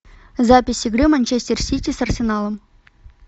запись игры манчестер сити с арсеналом